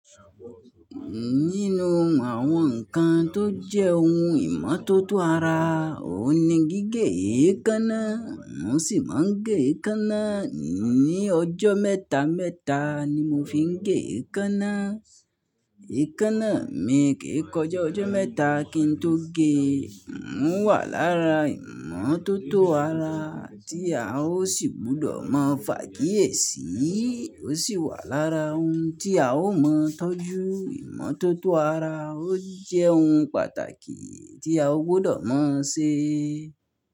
Nínú àwọn nǹkan tó jẹ́ ohun ìmọ́tótó ara, òní gígé èékánná, n ó sì máa ń gé èékánná. Ní ọjọ́ mẹ́ta mẹ́ta ni mo fi ń gé èékánná. Èékánná mi kì í kọjá ọjọ́ mẹ́ta kí n tó gé. N ó wà lára ìmọ́tótó ara tí a ó sì gbọdọ̀ mọ fàkiyèsì. Ó sì wà lára ohun tí a ó mọ tọ́jú. Ìmọ́tótó ara ó jẹ́ ohun pàtàkì tí a ó gbọdọ̀ mọ̀ ṣe.